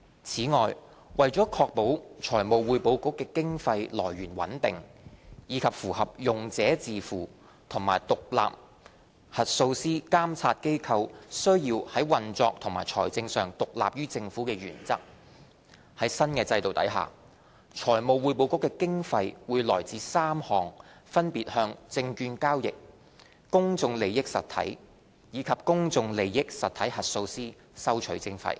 此外，為確保財務匯報局經費來源穩定，以及符合"用者自付"和獨立核數師監察機構須在運作及財政上獨立於政府的原則，在新制度下，財務匯報局的經費會來自3項分別向證券交易、公眾利益實體及公眾利益實體核數師收取的徵費。